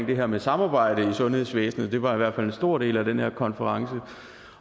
det her med samarbejde i sundhedsvæsenet det var i hvert fald en stor del af den her konference